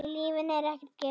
Í lífinu er ekkert gefið.